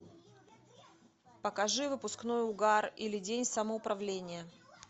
покажи выпускной угар или день самоуправления